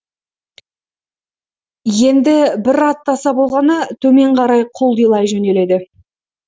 енді бір аттаса болғаны төмен қарай құлдилай жөнеледі